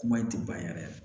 Kuma in tɛ ban yɛrɛ